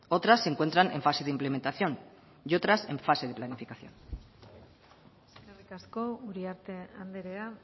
otras se encuentran en fase de implementación y otras en fase de planificación eskerrik asko uriarte andrea